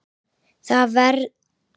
Þar verður komið víða við.